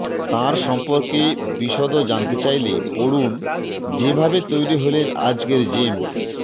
তার সম্পর্কে বিষদ জানতে চাইলে পড়ুন যেভাবে তৈরি হলেন আজকের জেমস